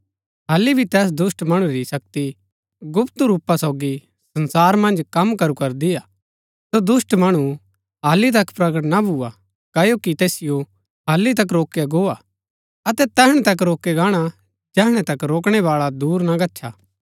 हालि भी तैस दुष्‍ट मणु री शक्ति गुप्त रूपा सोगी संसार मन्ज कम करू करदी हा सो दुष्‍ट मणु हालि तक प्रकट ना भुआ क्ओकि तैसिओ हालि तक रोकया गो हा अतै तैहणै तक रोकया गाणा जैहणै तक रोकणै बाळा दूर ना गच्छा